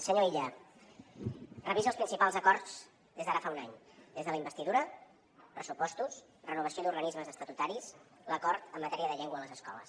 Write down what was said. senyor illa revisi els principals acords des d’ara fa un any des de la investidura pressupostos renovació d’organismes estatutaris l’acord en matèria de llengua a les escoles